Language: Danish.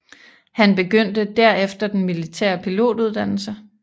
Han begyndte derefter den militære pilotuddannelse